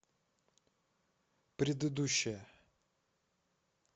предыдущая